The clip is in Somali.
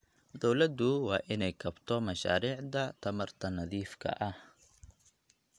Dawladdu waa inay kabto mashaariicda tamarta nadiifka ah.